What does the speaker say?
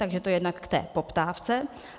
Takže to jednak k té poptávce.